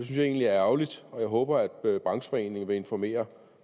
jeg egentlig er ærgerligt jeg håber at brancheforeningen vil informere